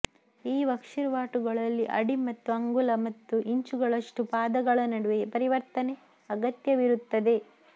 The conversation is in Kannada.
ಈ ವರ್ಕ್ಷೀಟ್ಗಳಲ್ಲಿ ಅಡಿ ಮತ್ತು ಅಂಗುಲ ಮತ್ತು ಇಂಚುಗಳಷ್ಟು ಪಾದಗಳ ನಡುವೆ ಪರಿವರ್ತನೆ ಅಗತ್ಯವಿರುತ್ತದೆ